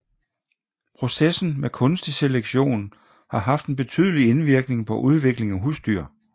Processen med kunstig selektion har haft en betydelig indvirkning på udviklingen af husdyr